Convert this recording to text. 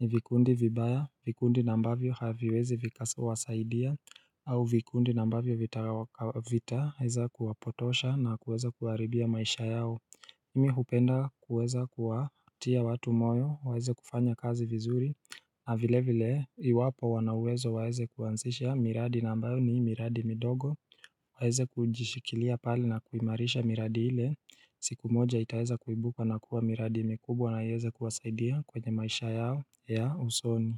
ni vikundi vibaya, vikundi na ambavyo haviwezi vikawasaidia au vikundi nambavyo vitavita huza kuwapotosha na kuweza kuwaribia maisha yao mimi hupenda kuweza kuwaatia watu moyo waeze kufanya kazi vizuri na vile vile iwapo wanauwezo waeze kuwanzisha miradi na ambayo ni miradi midogo waeze kujishikilia pahali na kuimarisha miradi ile siku moja itaeza kuibuka na kuwa miradi mikubwa na yaeze kuwasaidia kwenye maisha yao ya usoni.